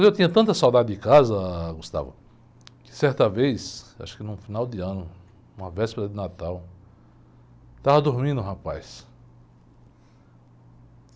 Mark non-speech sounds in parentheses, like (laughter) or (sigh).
E eu tinha tanta saudade de casa, ãh, (unintelligible) que certa vez, acho que num final de ano, uma véspera de Natal, eu estava dormindo, rapaz.